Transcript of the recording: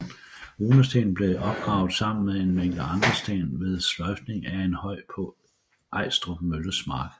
Runestenen blev opgravet sammen med en mængde andre sten ved sløjfning af en høj på Ejstrup mølles mark